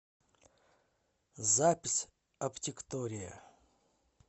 запись оптиктория